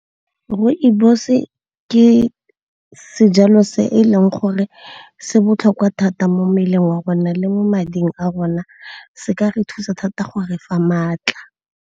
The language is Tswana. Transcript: Rooibos-e ke sejalo se e leng gore se botlhokwa thata mo mmeleng wa rona le mo mading a rona. Se ka re thusa thata go re fa maatla.